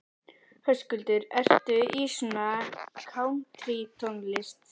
Höskuldur: Ertu í svona kántrítónlist?